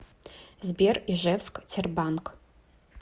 сбер ижевск тербанк